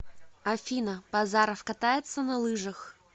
афина базаров катается на лыжах